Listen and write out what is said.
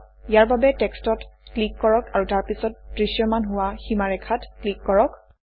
ইয়াৰ বাবে টেক্সটত ক্লিক কৰক আৰু তাৰপিছত দৃশ্যমান হোৱা সীমাৰেখাত ক্লিক কৰক